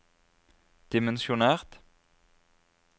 dimensjonert